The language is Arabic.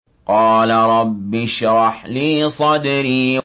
قَالَ رَبِّ اشْرَحْ لِي صَدْرِي